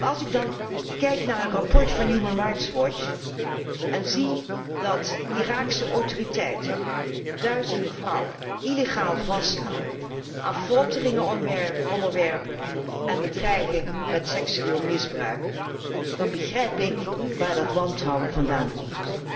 Als ik dan kijk naar een rapport van Human Rights Watch en zie dat Iraakse autoriteiten duizenden vrouwen illegaal vasthouden, aan folteringen onderwerpen en bedreigen met seksueel misbruik, dan begrijp ik waar dat wantrouwen vandaan komt.